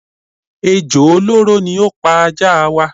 Ejò olóró ni ó pa ajá waa.